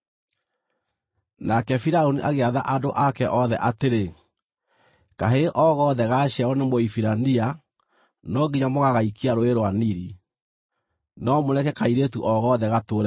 Nake Firaũni agĩatha andũ ake othe atĩrĩ: “Kahĩĩ o gothe gaaciarwo nĩ Mũhibirania no nginya mũgagaikia Rũũĩ rwa Nili, no mũreke kairĩtu o gothe gatũũre muoyo.”